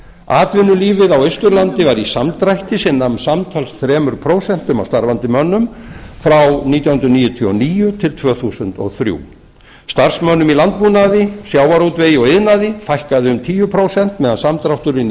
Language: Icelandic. atvinnulífið á austurlandi var í samdrætti sem nam samtals þrjú prósent af starfandi mönnum frá nítján hundruð níutíu og níu til tvö þúsund og þrjú starfsmönnum í landbúnaði sjávarútvegi og iðnaði fækkaði um tíu prósent meðan samdrátturinn